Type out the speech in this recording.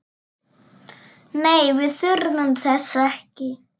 Nei, við þurfum þess ekki.